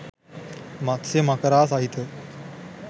මත්ස්‍ය මකරා සහිත